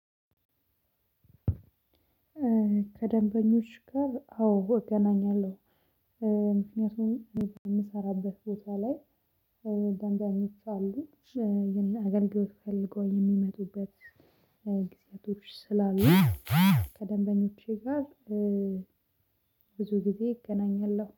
ከደንበኞች ጋር አዎ እገናኛለሁ። ምክንያቱም የምሰራበት ቦታ ላይ ደንበኞች አሉ አገልግሎት ፈልጎ የሚመጡበት ጊዜያቶች ስላሉ። ከደንበኞቼ ጋር ብዙ ጊዜ እገናኛለሁ